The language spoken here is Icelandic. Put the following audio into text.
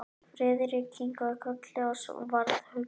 Friðrik kinkaði kolli og varð hugsi.